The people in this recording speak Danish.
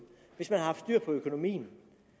hvis man havde haft styr på økonomien